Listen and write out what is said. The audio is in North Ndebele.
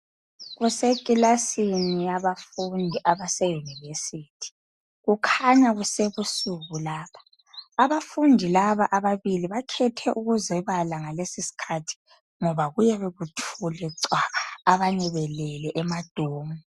Kusekilasini yabafundi abase university . Kukhanya kusebusuku lapha .Abafundi laba ababili bakhethe ukuzebala ngalesi skhathi ngoba kuyabe kuthule cwaka .Abanye belele ema dorm .